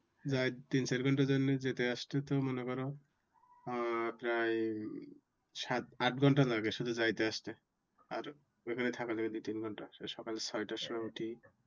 যাই তিন চার ঘন্টার জন্যে যেতে আসতে তো মনে করো আহ প্রায় সাত আট ঘন্টা লাগে শুধু যাইতে আসতে। আর ওখানে থাকা যায় দুই তিন ঘন্টা। সকাল ছয় টার সময় উঠি।